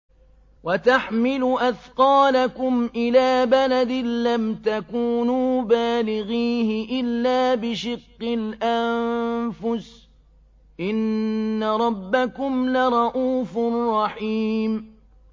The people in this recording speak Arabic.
وَتَحْمِلُ أَثْقَالَكُمْ إِلَىٰ بَلَدٍ لَّمْ تَكُونُوا بَالِغِيهِ إِلَّا بِشِقِّ الْأَنفُسِ ۚ إِنَّ رَبَّكُمْ لَرَءُوفٌ رَّحِيمٌ